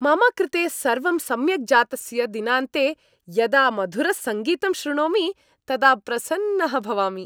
मम कृते सर्वं सम्यक् जातस्य दिनान्ते यदा मधुरसङ्गीतं शृणोमि तदा प्रसन्नः भवामि।